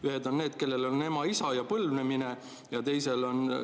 Ühed on need, kellel on ema ja isa ja põlvnemine.